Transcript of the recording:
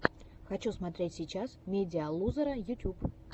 хочу смотреть сейчас медиалузера ютюб